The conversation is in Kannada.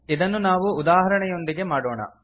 ಇದನ್ನು ನಾವು ಉದಾಹರಣೆಯೊಂದಿಗೆ ಮಾಡೋಣ